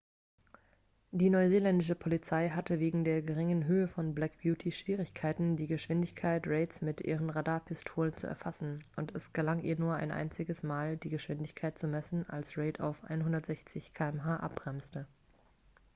die neuseeländische polizei hatte wegen der geringen höhe von black beauty schwierigkeiten die geschwindigkeit reids mit ihren radarpistolen zu erfassen und es gelang ihr nur ein einziges mal die geschwindigkeit zu messen als reid auf 160 km/h abbremste